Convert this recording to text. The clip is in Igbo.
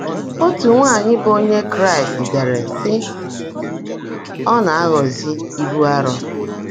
Ótú nwáanyị́ bụ́ Ónyé Kráịst deèrè, sị́: “Ọ́ ná-ághọ́zị́ íbú árọ́.”